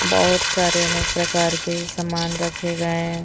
बहोत सारे अनेक प्रकार के सामान रखे गए हैं।